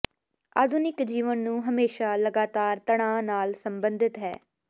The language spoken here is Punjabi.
ਆਧੁਨਿਕ ਜੀਵਨ ਨੂੰ ਹਮੇਸ਼ਾ ਲਗਾਤਾਰ ਤਣਾਅ ਨਾਲ ਸੰਬੰਧਿਤ ਹੈ